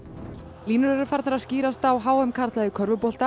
línur eru farnar að skýrast á h m karla í körfubolta